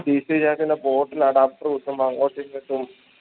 PClap ൻറെ port ല് adapter വെക്കുമ്പോ അങോട്ടും ഇങ്ങോട്ടും